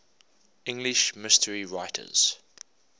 english mystery writers